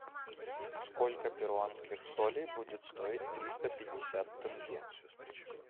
сколько перуанских солей будет стоить триста пятьдесят тенге